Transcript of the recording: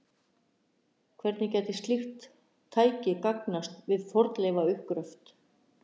Hvernig gæti slíkt tæki gagnast við fornleifauppgröft?